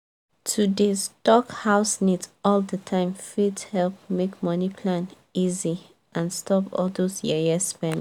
to dey stock house needs all the time fit help make money plan easy and stop all those yeye spending.